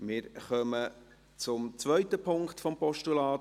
Wir kommen zum zweiten Punkt des Postulats.